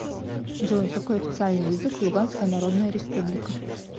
джой какой официальный язык в луганская народная республика